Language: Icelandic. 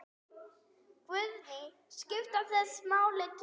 Guðný: Skipta þessi mál tugum?